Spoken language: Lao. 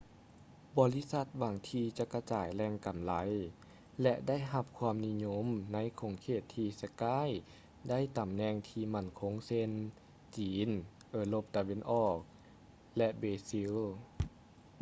ບໍລິສັດຫວັງທີ່ຈະກະຈາຍແຫຼງກໍາໄລ ແລະ ໄດ້ຮັບຄວາມນິຍົມໃນຂົງເຂດທີ່ skype ຖືຕຳແໜ່ງທີ່ໝັ້ນຄົງເຊັ່ນ ຈີນ ເອີຣົບຕາເວັນອອກ ແລະ ເບຊິລ